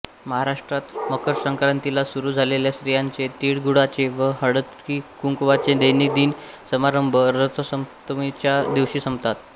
महाराष्ट्रात मकरसंक्रातीला सुरू झालेले स्त्रियांचे तिळगुळाचे व हळदीकुंकवाचे दैनंदिन समारंभ रथसप्तमीच्या दिवशी संपतात